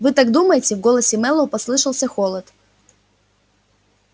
вы так думаете в голосе мэллоу послышался холод